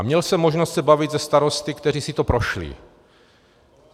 A měl jsem možnost se bavit se starosty, kteří si to prošli.